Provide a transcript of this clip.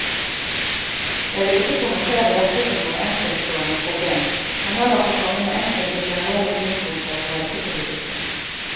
Jeg vil ikke kommentere dette som noe enkeltstående problem, men heller få komme med enkelte generelle synspunkter på helsepolitikken.